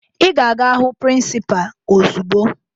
Ị ga-aga hụ prịnsịpaa ozugbo!